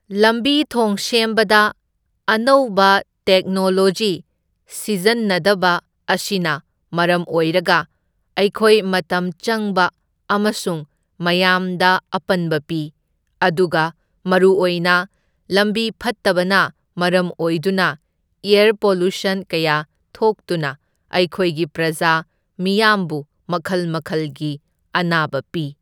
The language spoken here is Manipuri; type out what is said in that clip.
ꯂꯝꯕꯤ ꯊꯣꯡ ꯁꯦꯝꯕꯗ ꯑꯅꯧꯕ ꯇꯦꯛꯅꯣꯂꯣꯖꯤ ꯁꯤꯖꯟꯅꯗꯕ ꯑꯁꯤꯅ ꯃꯔꯝ ꯑꯣꯏꯔꯒ ꯑꯩꯈꯣꯏ ꯃꯇꯝ ꯆꯪꯕ ꯑꯃꯁꯨꯡ ꯃꯌꯥꯝꯗ ꯑꯄꯟꯕ ꯄꯤ, ꯑꯗꯨꯒ ꯃꯔꯨꯑꯣꯏꯅ ꯂꯝꯕꯤ ꯐꯠꯇꯕꯅ ꯃꯔꯝ ꯑꯣꯏꯗꯨꯅ ꯑꯦꯔ ꯄꯣꯂ꯭ꯌꯨꯁꯟ ꯀꯌꯥ ꯊꯣꯛꯇꯨꯅ ꯑꯩꯈꯣꯏꯒꯤ ꯄ꯭ꯔꯖꯥ ꯃꯤꯌꯥꯝꯕꯨ ꯃꯈꯜ ꯃꯈꯜꯒꯤ ꯑꯅꯥꯕ ꯄꯤ꯫